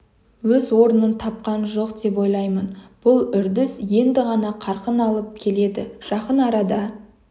өз орнын тапқан жоқ деп ойлаймын бұл үрдіс енді ғана қарқын алып келеді жақын арада